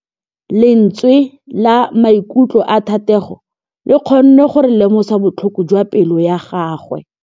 Lentswe la maikutlo a Thategô le kgonne gore re lemosa botlhoko jwa pelô ya gagwe.